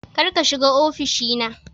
Kar ka shiga ofishi na